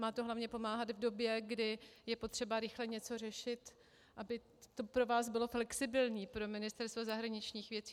Má to hlavně pomáhat v době, kdy je potřeba rychle něco řešit, aby to pro vás bylo flexibilní, pro Ministerstvo zahraničních věcí.